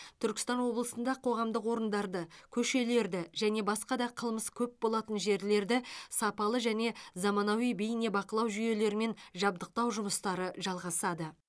түркістан облысында қоғамдық орындарды көшелерді және басқа да қылмыс көп болатын жерлерді сапалы және заманауи бейнебақылау жүйелерімен жабдықтау жұмыстары жалғасады